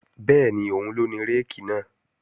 Bẹ́ẹ̀ni, òun ló ní réèkì náà